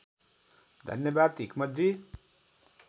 धन्यवाद हिक्मतजी